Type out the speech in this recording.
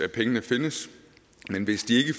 pengene findes men hvis de